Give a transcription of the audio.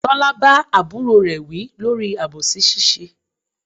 Tọ́lá bá àbúrò rè wí lórí àbòsí ṣíṣe.